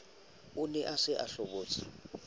ne a se a hobotse